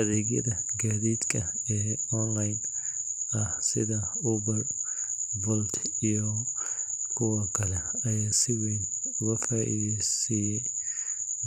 Adeegyada gaadiidka ee online ah sida Uber, Bolt, iyo kuwa kale ayaa si weyn ugu faa’iideeyay